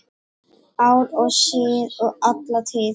Ár og síð og alla tíð